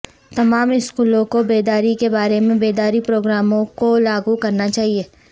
تمام اسکولوں کو بیداری کے بارے میں بیداری پروگراموں کو لاگو کرنا چاہئے